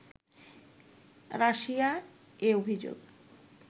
Russia এ অভিযোগ